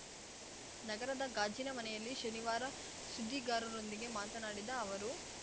ನಗರದ ಗಾಜಿನ ಮನೆಯಲ್ಲಿ ಶನಿವಾರ ಸುದ್ದಿಗಾರರೊಂದಿಗೆ ಮಾತನಾಡಿದ ಅವರು